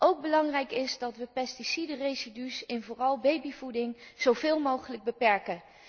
Ook belangrijk is dat we pesticidenresidu's in vooral babyvoeding zoveel mogelijk beperken.